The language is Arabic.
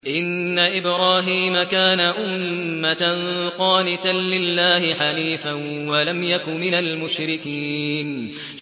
إِنَّ إِبْرَاهِيمَ كَانَ أُمَّةً قَانِتًا لِّلَّهِ حَنِيفًا وَلَمْ يَكُ مِنَ الْمُشْرِكِينَ